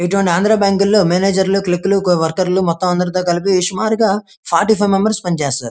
ఇటువంటి ఆంద్ర బ్యాంక్ లో మేనేజర్ లు క్లార్క్క లు వవర్కర్లు మొత్తం కలిపి సుమారుగా ఫార్టీ ఫైవ్ మెంబర్స్ పని చేస్తారు.